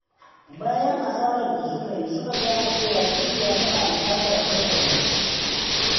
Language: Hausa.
Bayan asarar da suka yi, suka gane cewa dukiya tana buƙatar hankali.